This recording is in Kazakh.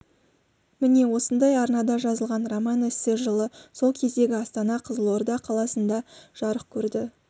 міне осындай арнада жазылған роман-эссе жылы сол кездегі астана қызылорда қаласында жарық көрді